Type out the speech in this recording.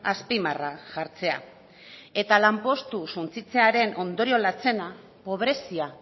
azpimarra jartzea eta lanpostu suntsitzearen ondorio lantzena pobrezia